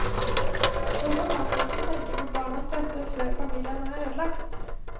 Hvorfor kan man ikke tenke på barnas beste før familien er ødelagt?